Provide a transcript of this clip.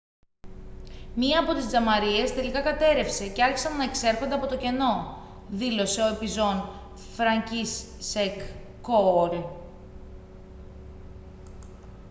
«μία από τις τζαμαρίες τελικά κατέρρευσε και άρχισαν να εξέρχονται από το κενό» δήλωσε ο επιζών φρανκίσσεκ κόουαλ